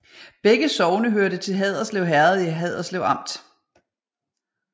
Begge sogne hørte til Haderslev Herred i Haderslev Amt